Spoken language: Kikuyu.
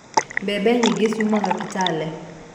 Mbembe nyingĩ ciumaga Kitale